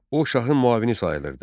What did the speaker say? O şahın müavini sayılırdı.